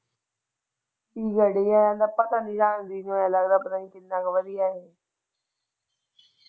ਕਿੰਨਾ ਕੋ ਵਧੀਆ ਹੈ?